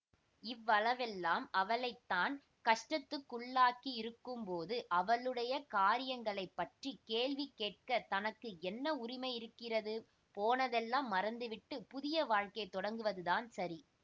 இவ்வளவெல்லாம் அவளை தான் கஷ்டத்துக்குள்ளாக்கியிருக்கும்போது அவளுடைய காரியங்களைப் பற்றி கேள்வி கேட்க தனக்கு என்ன உரிமை இருக்கிறது போனதெல்லாம் மறந்துவிட்டுப் புதிய வாழ்க்கை தொடங்குவதுதான் சரி